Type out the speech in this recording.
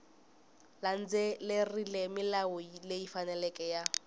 landzelerile milawu leyi faneleke ya